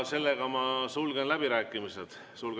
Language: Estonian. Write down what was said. Seega ma sulgen läbirääkimised.